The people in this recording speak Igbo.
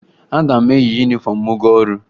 Agaghị m eyi yunifọmụ m gaa ọrụ